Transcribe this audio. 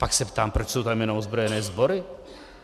Pak se ptám, proč jsou tam jenom ozbrojené sbory.